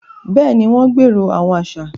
Béèni, wọn gbero awọn aṣa